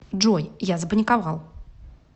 джой я запаниковал